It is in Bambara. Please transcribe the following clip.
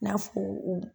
I n'a fɔ u